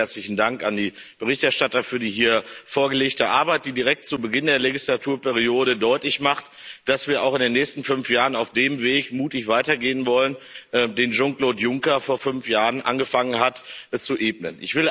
Zunächst ganz herzlichen Dank an die Berichterstatter für die hier vorgelegte Arbeit, die direkt zu Beginn der Legislaturperiode deutlich macht, dass wir auch in den nächsten fünf Jahren auf dem Weg mutig weitergehen wollen, den Jean Claude Juncker vor fünf Jahren angefangen hat zu ebnen.